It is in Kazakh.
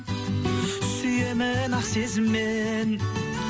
сүйемін ақ сезіммен